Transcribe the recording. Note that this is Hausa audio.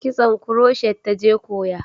Kitson kuroshet ta je koya